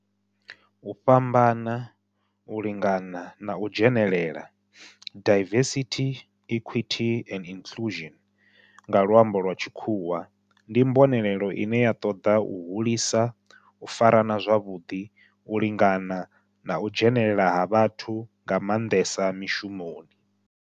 U fhambana, u lingana na u dzhenelela, diversity, equity and inclusion nga lwambo lwa tshikhuwa, ndi mbonelelo ine ya toda u hulisa u farana zwavhudi, u lingana na u dzhenelela ha vhathu nga mandesa mishumoni.